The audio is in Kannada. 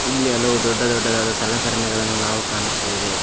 ಇಲ್ಲಿ ಹಲವು ದೊಡ್ಡ ದೊಡ್ಡದಾದ ಸಲಕರಣೆಗಳನ್ನು ನಾವು ಕಾಣುತ್ತೇವೆ.